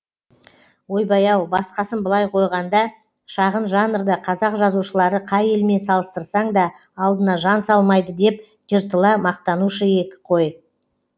ойбай ау басқасын былай қойғанда шағын жанрда қазақ жазушылары қай елмен салыстырсаң да алдына жан салмайды деп жыртыла мақтанушы ек қой